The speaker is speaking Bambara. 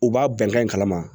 U b'a bɛnkan in kalama